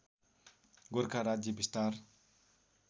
गोरखा राज्य विस्तार